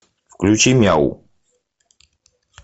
включи мяу